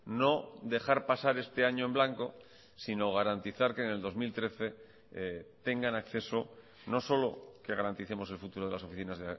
no dejar pasar este año en blanco sino garantizar que en el dos mil trece tengan acceso no solo que garanticemos el futuro de las oficinas